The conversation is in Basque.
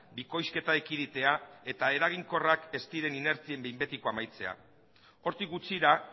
bikoizketa ekiditea eta eraginkorrak ez diren inertzien behin betiko amaitzea hortik gutxira